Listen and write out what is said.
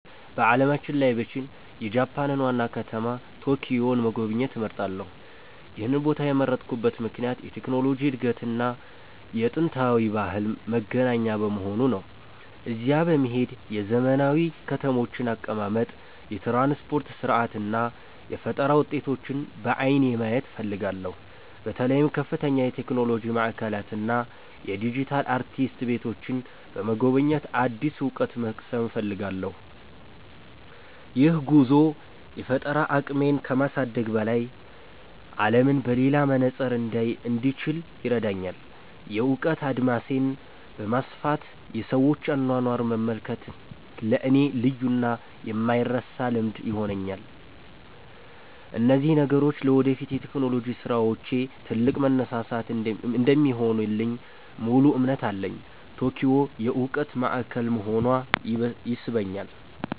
በዓለም ላይ ብችል፣ የጃፓንን ዋና ከተማ ቶኪዮን መጎብኘት እመርጣለሁ። ይህን ቦታ የመረጥኩበት ምክንያት የቴክኖሎጂ እድገትና የጥንታዊ ባህል መገናኛ በመሆኑ ነው። እዚያ በመሄድ የዘመናዊ ከተሞችን አቀማመጥ፣ የትራንስፖርት ሥርዓት እና የፈጠራ ውጤቶችን በዓይኔ ማየት እፈልጋለሁ። በተለይም ከፍተኛ የቴክኖሎጂ ማዕከላትን እና የዲጂታል አርቲስት ቤቶችን በመጎብኘት አዲስ እውቀት መቅሰም እፈልጋለሁ። ይህ ጉዞ የፈጠራ አቅሜን ከማሳደግም በላይ፣ አለምን በሌላ መነጽር እንዳይ እንድችል ይረዳኛል። የእውቀት አድማሴን በማስፋት የሰዎችን አኗኗር መመልከት ለእኔ ልዩና የማይረሳ ልምድ ይሆንልኛል። እነዚህ ነገሮች ለወደፊት የቴክኖሎጂ ስራዎቼ ትልቅ መነሳሳት እንደሚሆኑልኝ ሙሉ እምነት አለኝ። ቶኪዮ የእውቀት ማዕከል መሆኗ ይስበኛል።